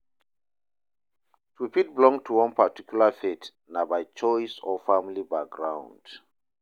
To fit belong to one particular faith na by choice or family background